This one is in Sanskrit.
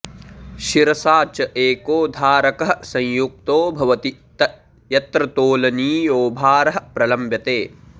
शिरसा च एको धारकः संयुक्तो भवति यत्र तोलनीयो भारः प्रलम्ब्यते